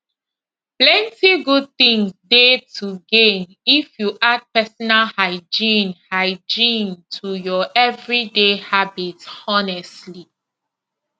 plenty good things dey to gain if you add personal hygiene hygiene to your everyday habits honestly